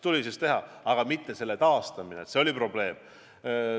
Tulubaasi taastamine on olnud probleem.